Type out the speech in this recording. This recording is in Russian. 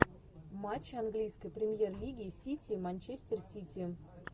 матч английской премьер лиги сити манчестер сити